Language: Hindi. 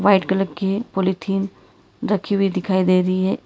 रेड कलर की पॉलिथीन रखी हुई दिखाई दे रही है।